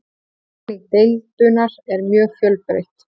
Hagnýting deildunar er mjög fjölbreytt.